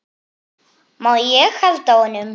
Má ég halda á honum?